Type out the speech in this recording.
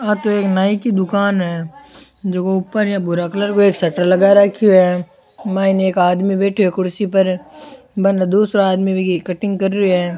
आ तो एक नाई की दुकान है जको ऊपर एक भूरा कलर को एक शटर लगा राख्यो है मायने एक आदमी बैठयो है कुर्सी पर बने दूसराे आदमी बिकी कटिंग कर रियो है।